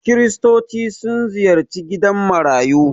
Kiristoci sun ziyarci gidan marayu.